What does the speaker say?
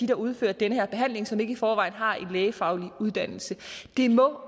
der udfører den her behandling og som ikke i forvejen har en lægefaglig uddannelse det må